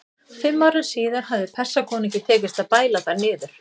Fimm árum síðar hafði Persakonungi tekist að bæla þær niður.